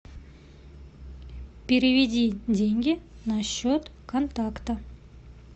переведи деньги на счет контакта